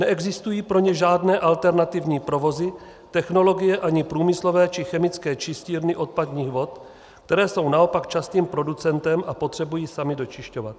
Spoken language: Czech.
Neexistují pro ně žádné alternativní provozy, technologie ani průmyslové či chemické čistírny odpadních vod, které jsou naopak častým producentem a potřebují samy dočišťovat.